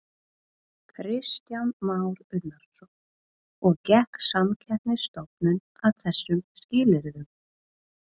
Kristján Már Unnarsson: Og gekk Samkeppnisstofnun að þessum skilyrðum?